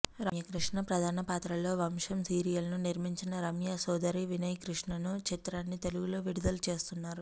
రమ్యకృష్ణ ప్రధాన పాత్రలో వంశం సీరియల్ను నిర్మించిన రమ్య సోదరి వినయ్కృష్ణన్ చిత్రాన్ని తెలుగులో విడుదల చేస్తున్నారు